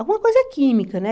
Alguma coisa química, né?